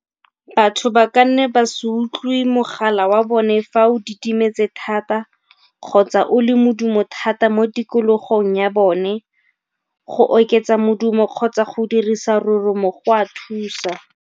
Batho ba ka nne ba se utlwe mogala wa bone fa o didimetse thata kgotsa o le modumo thata mo tikologong ya bone. Go oketsa modumo kgotsa go dirisa roromo go a thusa.